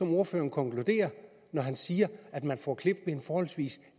ordføreren konkluderer når han siger at man får klip ved en forholdsvis